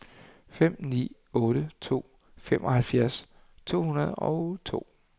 fem ni otte to femoghalvfjerds to hundrede og to